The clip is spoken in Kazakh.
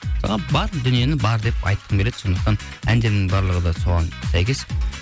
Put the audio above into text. бар дүниені бар деп айтқым келеді сондықтан әндерімнің барлығы да соған сәйкес